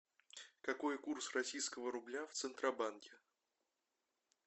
какой курс российского рубля в центробанке